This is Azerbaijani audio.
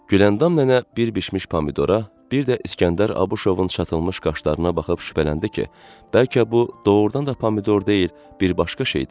Güləndam nənə bir bişmiş pomidora, bir də İsgəndər Abışovun çatılmış qaşlarına baxıb şübhələndi ki, bəlkə bu doğrudan da pomidor deyil, bir başqa şeydir.